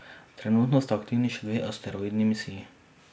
Trenutno sta aktivni še dve asteroidni misiji.